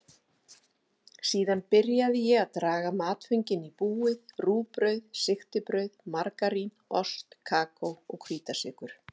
Síðan byrjaði ég að draga matföngin í búið: rúgbrauð, sigtibrauð, margarín, ost, kókó og hvítasykur.